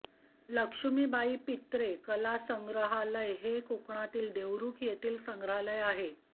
लक्ष्मीबाई पित्रे कलासंग्रहालय हे कोकणातील देवरूख येथील संग्रहालय आहे